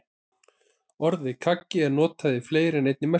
Orðið kaggi er notað í fleiri en einni merkingu.